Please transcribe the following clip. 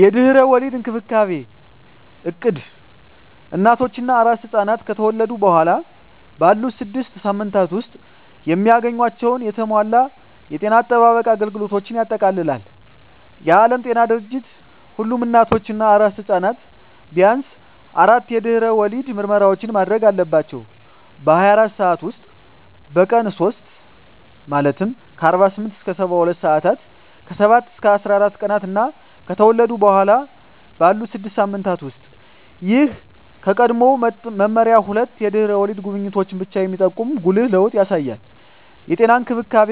የድህረ ወሊድ እንክብካቤ እቅድ እናቶች እና አራስ ሕፃናት ከተወለዱ በኋላ ባሉት ስድስት ሳምንታት ውስጥ የሚያገኟቸውን የተሟላ የጤና አጠባበቅ አገልግሎቶችን ያጠቃልላል። የዓለም ጤና ድርጅት ሁሉም እናቶች እና አራስ ሕፃናት ቢያንስ አራት የድህረ ወሊድ ምርመራዎችን ማድረግ አለባቸው - በ24 ሰዓት ውስጥ፣ በቀን 3 (48-72 ሰአታት)፣ ከ7-14 ቀናት እና ከተወለዱ በኋላ ባሉት 6 ሳምንታት ውስጥ። ይህ ከቀድሞው መመሪያ ሁለት የድህረ ወሊድ ጉብኝቶችን ብቻ የሚጠቁም ጉልህ ለውጥ ያሳያል። የጤና እንክብካቤ